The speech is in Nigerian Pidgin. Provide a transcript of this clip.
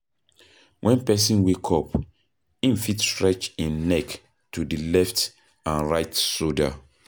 When person wake up, im fit stretch im neck to di letf and right shoulder